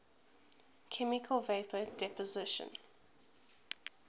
chemical vapor deposition